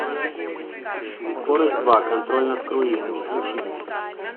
скорость два контроль над круизом включи мне